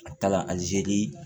A taala a ze li